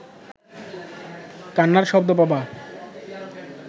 কান্নার শব্দ পাবা